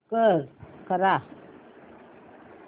stop करा